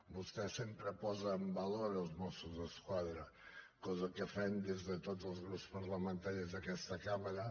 vostè sempre posa en valor els mossos d’esquadra cosa que fem des de tots els grups parlamentaris d’aquesta cambra